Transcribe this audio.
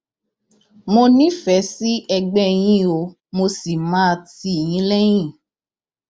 mo nífẹẹ sí ẹgbẹ yín o mo sì máa tì yín lẹyìn